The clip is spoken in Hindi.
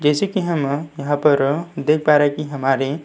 जैसा की हम यहाँ पर देख पा रहे हैं की हमारे --